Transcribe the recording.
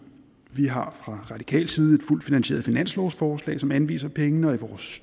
vi har fra radikal side et fuldt finansieret finanslovsforslag som anviser pengene og i vores